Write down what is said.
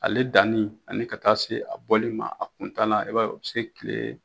Ale danni ani ka taa se a bɔli ma a kun taala i b'a ye o bɛ se kile